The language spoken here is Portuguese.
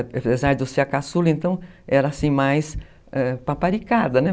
Apesar de eu ser a caçula, então era assim mais paparicada, é, né?